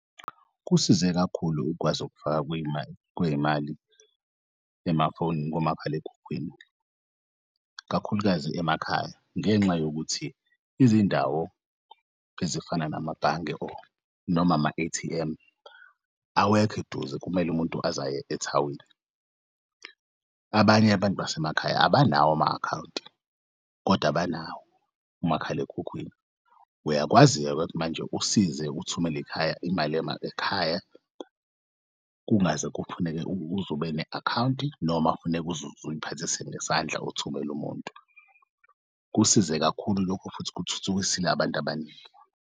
Kusize kakhulu ukwazi ukufakwa kwey'mali emafonini komakhalekhukhwini kakhulukazi emakhaya, ngenxa yokuthi izindawo ezifana namabhange noma ama-A_T_M awekho eduze kumele umuntu aze ayeke ethawini. Abanye abantu basemakhaya abanawo ama akhawunti kodwa banawo umakhalekhukhwini. Uyakwazi-ke manje usize uthumela ekhaya imali ekhaya kungaze kufuneke ukuze ube ne akhawunti noma kufaneke uze uyiphathise ngesandla uthumel'umuntu. Kusize kakhulu lokho futhi kuthuthukisile abantu abaningi.